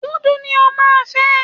Dúdú ni o máa fẹ́